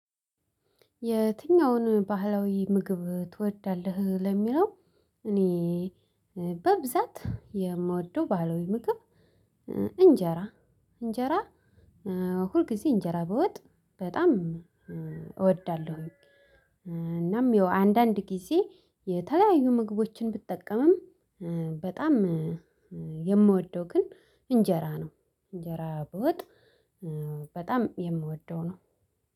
የትኛውን ባህላዊ ምግብ ትወዳለህ ለሚለው? እኔ በብዛት የምወደው ባህላዊ ምግብ እንጀራ እንጀራ ሁልጊዜ እንጀራ በወጥ በጣም እወዳለሁኝ። እናም አንዳንድ ጊዜ የተለያዩ ምግቦችን ብጠቀምም በጣም የምወደው ግን እንጀራ ነው። እንጀራ በወጥ በጣም የምወደው ነው።